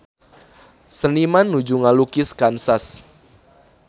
Seniman nuju ngalukis Kansas